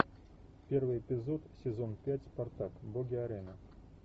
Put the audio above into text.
первый эпизод сезон пять спартак боги арены